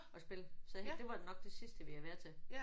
At spille. Så det var nok det sidste vi har været til